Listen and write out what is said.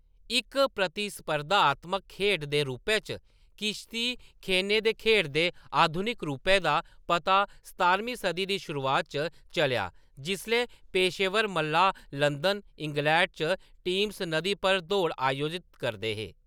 इक प्रतिस्पर्धात्मक खेढ दे रूपै च किश्ती खेने दे खेढ दे आधुनिक रूपै दा पता सतारमीं सदी दी शुरुआत च चलेआ जिसलै पेशेवर मलाह्‌‌ लंदन, इंग्लैंड च टेम्स नदी पर दौड़ आयोजत करदे हे।